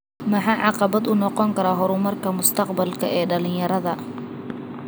Maxaa caqabad ku noqon kara horumarka mustaqbalka ee dhalinyarada?